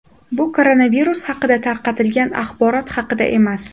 Bu koronavirus haqida tarqatilgan axborot haqida emas.